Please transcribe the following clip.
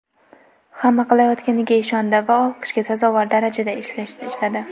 Hamma qilayotganiga ishondi va olqishga sazovor darajada ishladi.